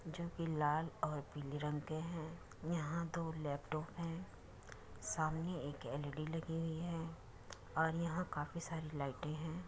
जो कि लाल और पीले रंग के हैं। यहां दो लैपटॉप हैं सामने एक एल_ई_डी लगी हुई है और यहाँ काफी सारी लाइटे हैं।